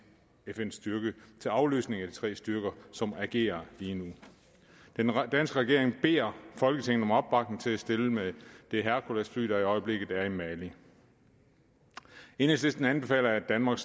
fn styrke til afløsning af de tre styrker som agerer lige nu den danske regering beder folketinget om opbakning til at stille med det hercules fly der i øjeblikket er i mali enhedslisten anbefaler at danmark